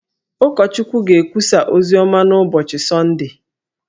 Ụkọchukwu ga-ekwusa oziọma n’ụbọchị Sọndee